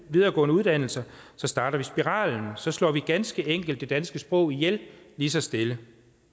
videregående uddannelser så starter vi spiralen og så slår vi ganske enkelt det danske sprog ihjel lige så stille